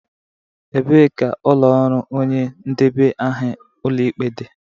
Ebee ka ụlọ ọrụ onye ndebe aha Ụlọikpe dị?